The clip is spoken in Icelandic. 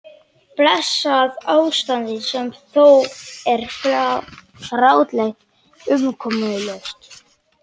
Blessað ástand sem er þó grátlega umkomulaust.